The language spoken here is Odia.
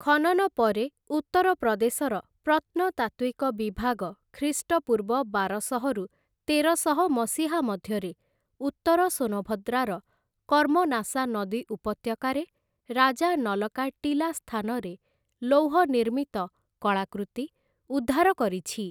ଖନନ ପରେ ଉତ୍ତର ପ୍ରଦେଶର ପ୍ରତ୍ନତାତ୍ତ୍ଵିକ ବିଭାଗ ଖ୍ରୀଷ୍ଟପୂର୍ବ ବାରଶହ ରୁ ତେରଶହ ମସିହା ମଧ୍ୟରେ ଉତ୍ତର ସୋନଭଦ୍ରାର କର୍ମନାସା ନଦୀ ଉପତ୍ୟକାରେ ରାଜା ନଲ କା ଟୀଲା ସ୍ଥାନରେ ଲୌହ ନିର୍ମିତ କଳାକୃତି ଉଦ୍ଧାର କରିଛି ।